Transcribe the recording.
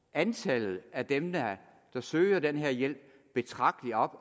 antallet af dem der der søger den her hjælp betragteligt op